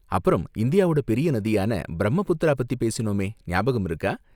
அப்பறம், இந்தியாவோட பெரிய நதியான பிரம்மபுத்திரா பத்தி பேசினோமே, ஞாபகம் இருக்கா?